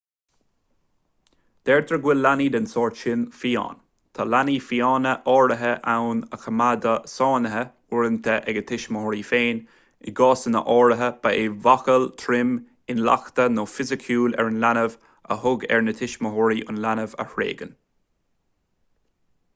deirtear go bhfuil leanaí den sórt sin fiáin". tá leanaí fiáine áirithe ann a coimeádadh sáinnithe uaireanta ag a dtuismitheoirí féin; i gcásanna áirithe ba é máchail trom intleachta nó fisiciúil ar an leanbh a thug air na tuismitheoirí an leanbh a thréigean